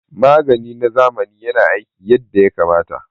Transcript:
Magani na zamani yana aiki yadda ya kamata